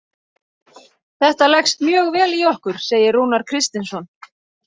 Þetta leggst mjög vel í okkur, segir Rúnar Kristinsson.